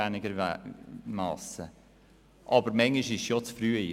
Aber manchmal ist sie oder kann sie auch zu früh sein.